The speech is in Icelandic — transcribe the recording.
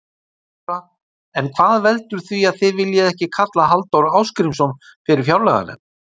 Þóra: En hvað veldur því að þið viljið ekki kalla Halldór Ásgrímsson fyrir fjárlaganefnd?